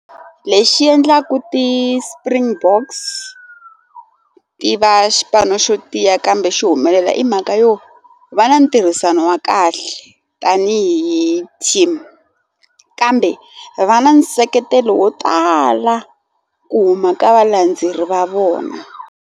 Lexi endlaku ti-Springboks ti va xipano xo tiya kambe xi humelela i mhaka yo va na ntirhisano wa kahle tanihi team kambe va na nseketelo wo tala ku huma ka valandzeleri va vona.